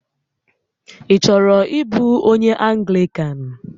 Ị chọrọ ịbụ onyé Anglịkan?